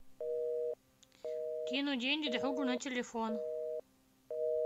кинуть деньги другу на телефон